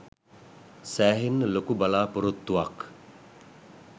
සෑහෙන්න ලොකු බලාපොරොත්තුවක්.